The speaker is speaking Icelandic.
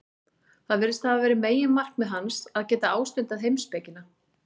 Það virðist hafa verið meginmarkmið hans, að geta ástundað heimspekina.